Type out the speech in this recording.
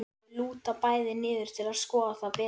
Þau lúta bæði niður til að skoða það betur.